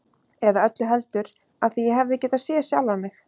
Eða öllu heldur: af því ég hefði getað séð sjálfan mig.